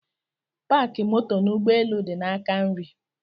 Paki moto n'ụgbọelu di n'aka nri